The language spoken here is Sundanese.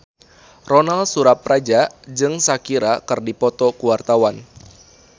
Ronal Surapradja jeung Shakira keur dipoto ku wartawan